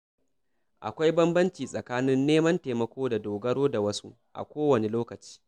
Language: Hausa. Akwai bambanci tsakanin neman taimako da dogaro da wasu a kowane lokaci.